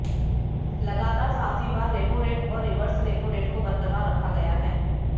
लगातार सातवीं बार रेपो रेट और रिवर्स रेपो रेट को बरकरार रखा गया है